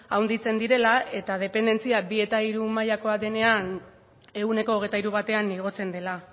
handitzen direla eta dependentzia bi eta hiru mailakoa denean ehuneko hogeita hiru batean igotzen dela